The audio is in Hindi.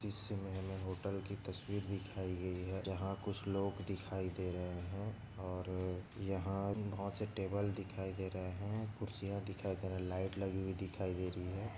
इस मे हमे होटल की तस्वीर दिखाई गई है जहा कुछ लोग दिखाई दे रहे है और यहा बहुत से टेबल दिखाई दे रहे है कूर्चिया दिखाई दे रहे लाईट लगी हुई दिखाई दे रही है।